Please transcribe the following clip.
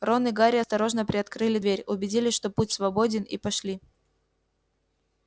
рон и гарри осторожно приоткрыли дверь убедились что путь свободен и пошли